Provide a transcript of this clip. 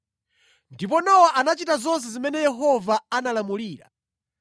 Ndipo Nowa anachita zonse zimene Yehova anamulamulira.